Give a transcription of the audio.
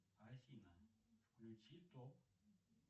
афина включи топ